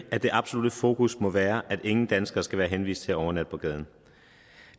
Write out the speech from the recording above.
at det absolutte fokus må være at ingen danskere skal være henvist til at overnatte på gaden